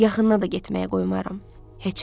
Yaxına da getməyə qoymaram.